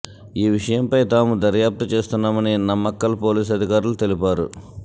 ఈ విషయంపై తాము దర్యాప్తు చేస్తున్నామని నమ్మక్కల్ పోలీసు అధికారులు తెలిపారు